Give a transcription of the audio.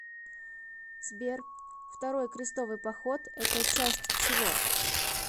сбер второй крестовый поход это часть чего